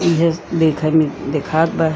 एहेज देखे में दिखात बा।